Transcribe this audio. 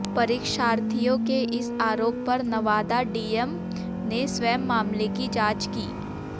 परीक्षार्थियों के इस आरोप पर नवादा डीएम ने स्वयं मामले की जांच की